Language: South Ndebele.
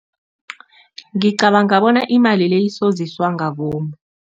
Ngicabanga bona imali le isoziswa ngabomu.